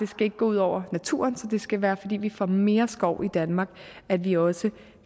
skal gå ud over naturen så det skal være fordi vi får mere skov i danmark at vi også